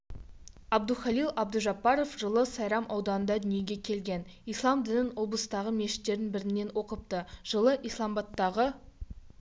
әбдухалил әбдужаппаров жылы сайрам ауданында дүниеге келген ислам дінін облыстағы мешіттердің бірінен оқыпты жылы исламбадтағы